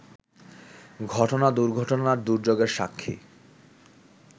ঘটনা-দুর্ঘটনা-দুর্যোগের সাক্ষী